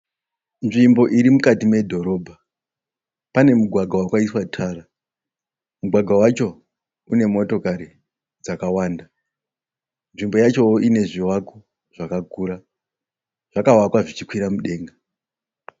Nzvimbo iri mukati medhorobha. Pane mugwagwa wakaiswa tara. Mugwagwa wacho une motokari dzakawanda. Nzvimbo yacho ine zvivako zvakakura. Zvakavakwa zvichikwira mudenga.